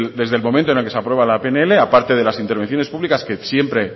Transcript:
desde el momento en el que se aprueba la pnl a parte de las intervenciones públicas que siempre